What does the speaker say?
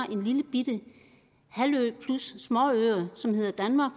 en lillebitte halvø plus småøer som hedder danmark